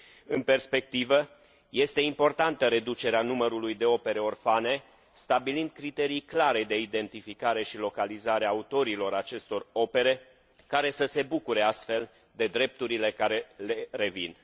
În perspectivă, este importantă reducerea numărului de opere orfane, stabilind criterii clare de identificare și localizare a autorilor acestor opere, care să se bucure, astfel, de drepturile care le revin.